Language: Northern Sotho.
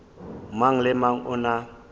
mang le mang o na